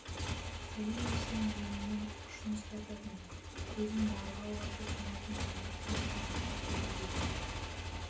сәлем берсең жеңінің ұшын ұстататын көзін марғау ашып-жұматын паңдықтан тамтық та көрінбейді